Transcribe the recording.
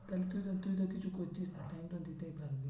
তাহলে তুই তো তুই তো কিছু করছিস না time তো দিতেই পারবি।